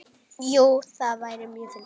Jú, það væri mjög fyndið.